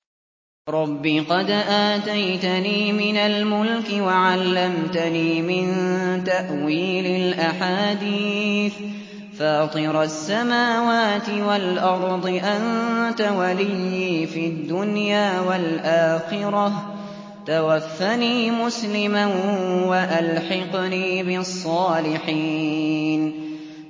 ۞ رَبِّ قَدْ آتَيْتَنِي مِنَ الْمُلْكِ وَعَلَّمْتَنِي مِن تَأْوِيلِ الْأَحَادِيثِ ۚ فَاطِرَ السَّمَاوَاتِ وَالْأَرْضِ أَنتَ وَلِيِّي فِي الدُّنْيَا وَالْآخِرَةِ ۖ تَوَفَّنِي مُسْلِمًا وَأَلْحِقْنِي بِالصَّالِحِينَ